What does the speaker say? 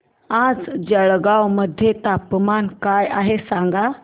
आज जळगाव मध्ये तापमान काय आहे सांगा